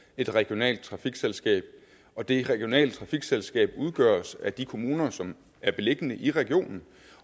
et regionalt trafikselskab og det regionale trafikselskab udgøres af de kommuner som er beliggende i regionen